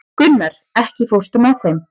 Gunnar, ekki fórstu með þeim?